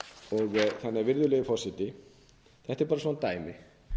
grein er gildistaka virðulegi forseti þetta er bara svona dæmi